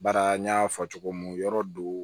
Baara n y'a fɔ cogo mun yɔrɔ do